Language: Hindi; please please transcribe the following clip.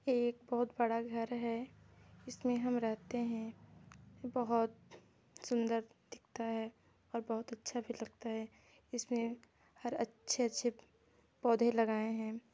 ये एक बहुत बड़ा घर है इसमें हम रहते है बहुत सुंदर दिखता है और बहुत अच्छा भी लगता है इसमें हर अच्छे-अच्छे पौधे लगाए है।